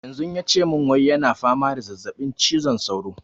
Yanzu yace mun wai yana fama da zazzaɓin cizon sauro